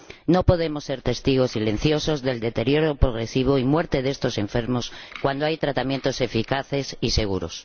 No podemos ser testigos silenciosos del deterioro progresivo y la muerte de estos enfermos cuando hay tratamientos eficaces y seguros.